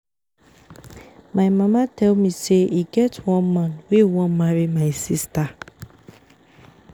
My mama tell me say e get one man wey wan marry my sister